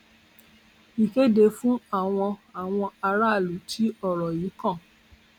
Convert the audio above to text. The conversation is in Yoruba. ìkéde fún àwọn àwọn aráàlú tí ọrọ yìí kàn